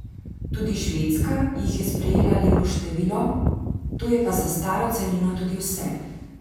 Tudi Švedska jih je sprejela lepo število, to je pa za staro celino tudi vse.